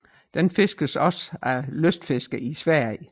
Den fiskes også af lystfiskere i Sverige